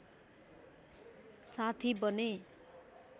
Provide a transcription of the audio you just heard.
साथी बने